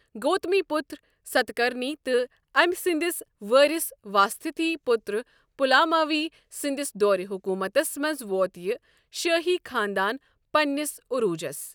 گوتمی پُتر ستکرنی تہٕ أمۍ سٕنٛدِس وٲرِث واسِستھی پُترٛ پُلاماوی سٕنٛدِس دورِ حُکومتس منٛز ووت یہِ شٲہی خانٛدان پنٛنِس عٔروٗجس۔